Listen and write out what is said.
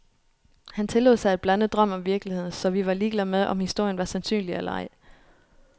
Han tillod sig at blande drøm og virkelighed, så vi var ligeglade med, om historien var sandsynlig eller ej.